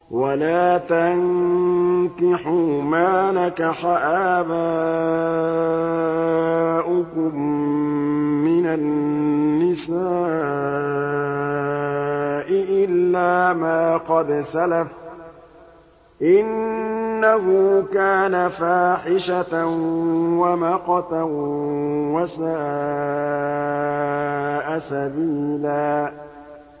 وَلَا تَنكِحُوا مَا نَكَحَ آبَاؤُكُم مِّنَ النِّسَاءِ إِلَّا مَا قَدْ سَلَفَ ۚ إِنَّهُ كَانَ فَاحِشَةً وَمَقْتًا وَسَاءَ سَبِيلًا